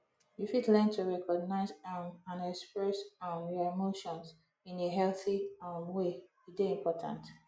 you fit learn to recognize um and express um your emotions in a healthy um way e dey important